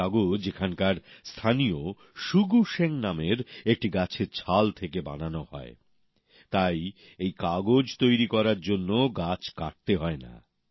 এই কাগজ এখানকার স্থানীয় শুগু শেং নামের একটি গাছের ছাল থেকে বানানো হয় তাই এই কাগজ তৈরি করার জন্য গাছ কাটতে হয় না